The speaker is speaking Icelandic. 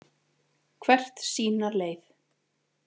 Hvert sína leið.